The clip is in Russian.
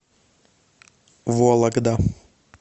вологда